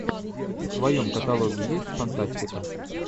в твоем каталоге есть фантастика